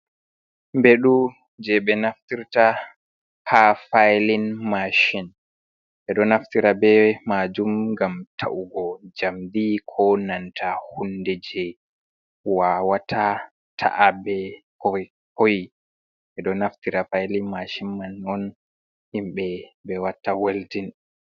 Mbeɗu jey ɓe naftirta haa failin mashin, ɓe ɗo naftira bee maajum ngam ta’ugo njamndi koo nanta huunde jey waawata ta’a bee ko hoyi, ɓe ɗo naftira failin mashin man non himɓe ɓe watta weldin.